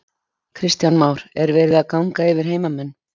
Kristján Már: Er verið að ganga yfir heimamenn?